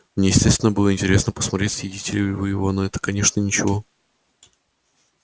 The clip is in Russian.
мне естественно было интересно посмотреть съедите ли вы его но это конечно ничего